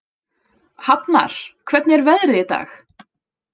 Hafnar, hvernig er veðrið í dag?